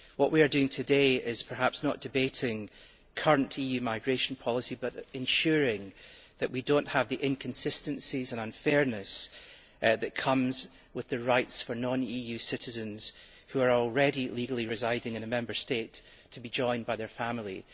What we are doing today is perhaps not debating current EU migration policy but ensuring that we do not have the inconsistencies and unfairness that accompany the right for non EU citizens who are already legally residing in a Member State to be joined by their families.